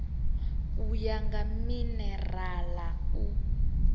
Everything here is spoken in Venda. u ya nga minerala u